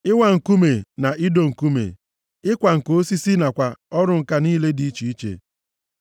ịwa nkume na ido nkume, ịkwa ǹka osisi nakwa ọrụ ǹka niile dị iche iche.